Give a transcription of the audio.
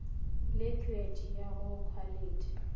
le khuet o go khwalithi